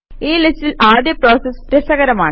ഈ ലിസ്റ്റിലെ ആദ്യ പ്രോസസ് രസകരമാണ്